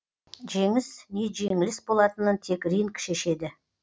жеңіс не жеңіліс болатынын тек ринг шешеді